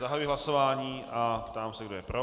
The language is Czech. Zahajuji hlasování a ptám se, kdo je pro.